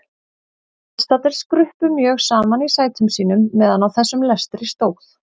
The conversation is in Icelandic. Viðstaddir skruppu mjög saman í sætum sínum meðan á þessum lestri stóð.